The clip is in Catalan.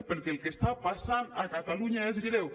perquè el que està passant a catalunya és greu